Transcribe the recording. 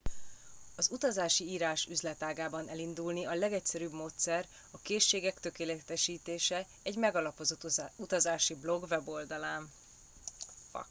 az utazási írás üzletágában elindulni a legegyszerűbb módszer a készségek tökéletesítése egy megalapozott utazási blog weboldalán